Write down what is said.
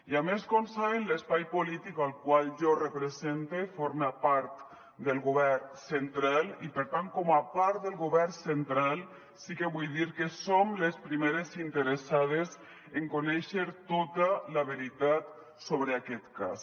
i a més com saben l’espai polític al qual jo represente forma part del govern central i per tant com a part del govern central sí que vull dir que som les primeres interessades en conèixer tota la veritat sobre aquest cas